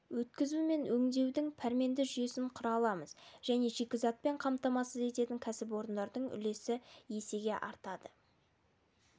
өткізу мен өңдеудің пәрменді жүйесін құра аламыз және шикізатпен қамтамасыз ететін кәсіпорындардың үлесі есеге артады